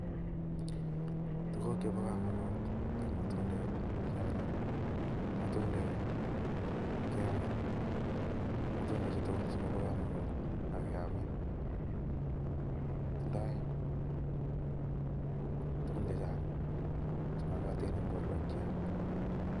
Tuguk chebo kamanut ko matundek en yu, matundek keame, matundechu tugul kobo kamanut ak keame. Tindoi tugun chechang chemakatin eng borwekcho.